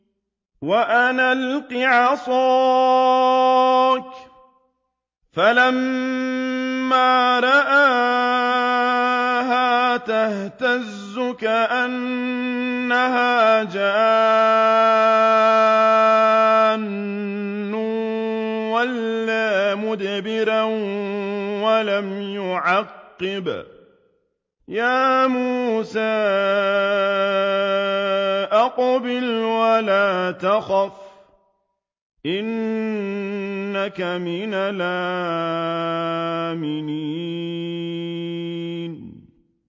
وَأَنْ أَلْقِ عَصَاكَ ۖ فَلَمَّا رَآهَا تَهْتَزُّ كَأَنَّهَا جَانٌّ وَلَّىٰ مُدْبِرًا وَلَمْ يُعَقِّبْ ۚ يَا مُوسَىٰ أَقْبِلْ وَلَا تَخَفْ ۖ إِنَّكَ مِنَ الْآمِنِينَ